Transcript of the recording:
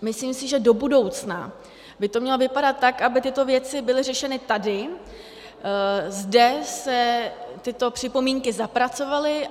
Myslím si, že do budoucna by to mělo vypadat tak, aby tyto věci byly řešeny tady, zde se tyto připomínky zapracovaly.